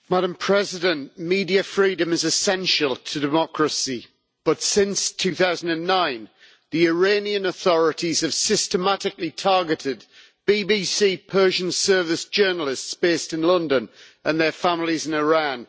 Madam President, media freedom is essential to democracy, but since 2009 the Iranian authorities have systematically targeted BBC Persian Service journalists based in London and their families in Iran.